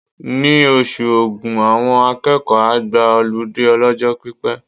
Ní oṣù Ògún, àwọn akẹ́kọ̀ọ́ á gba ọlídé ọlọ́jọ́ pípẹ́.